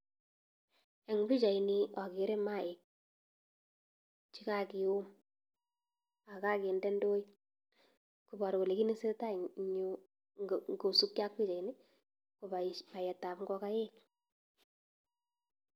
Eng pichaini ageere maaik che kakium ak kakende ndoit koporu kole kiit ne tesetai eng yu kosupkei ak pichaini ko paetab ingokaik.